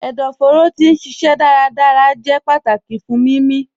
Ẹdọfóró ti n ṣiṣẹ dárádárá jẹ̀ pátákì fún mímí.